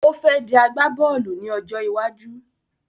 Ó fẹ́ dí agbá-bóòlù ní ọjọ́ iwájú